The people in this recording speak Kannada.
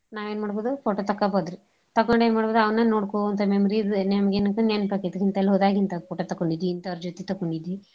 ನಾವೇನ್ ಮಾಡ್ಬೋದು photo ತಕ್ಕೋಬೋದ್ರಿ ತಕ್ಕೊಂಡ್ ಎನ್ ಮಾಡ್ಬೋದ್ ಅವ್ನ ನೋಡ್ಕೋಂತ memories ನಮ್ಗೆ ನೆನ್ಪ ಆಕೇತ್ ರಿ ಇಂತಲ್ ಹೋದಾಗ್ ಇಂತ photo ತಕ್ಕೊಂಡಿದ್ವಿ ಇಂತೋರ್ ಜೊತಿ ತಕ್ಕೊಂಡಿದ್ವಿ.